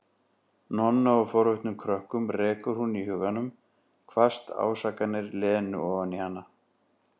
Nonna og forvitnum krökkunum, rekur hún í huganum hvasst ásakanir Lenu ofan í hana.